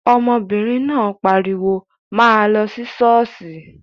Ọmọbìnrin náà pariwo, 'máa lọ sí ṣọ́ọ̀ṣì'